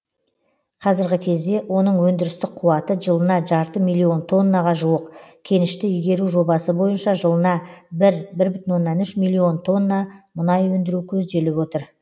қазіргі кезде оның өндірістік қуаты жылына жарты миллион тоннаға жуық кенішті игеру жобасы бойынша жылына бір бір бүтін оннан үш миллион тонна мұнай өндіру көзделіп отыр